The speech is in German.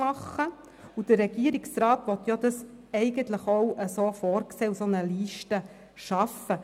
Der Regierungsrat sieht es eigentlich so vor und will eine solche Liste schaffen.